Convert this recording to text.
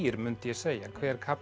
mundi ég segja hver kafli